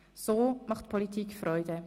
So macht Politik Freude.